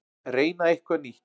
Reyna eitthvað nýtt.